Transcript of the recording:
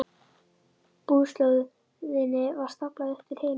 Búslóðinni var staflað upp til himins.